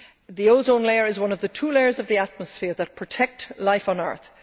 The ozone layer is one of the two layers of the atmosphere that protect life on earth.